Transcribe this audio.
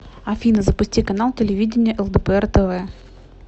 афина запусти канал телевидения лдпр тв